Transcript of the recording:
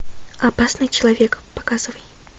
опасный человек показывай